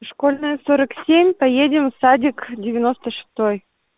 из школьная сорок семь поедем в садик девяносто шестой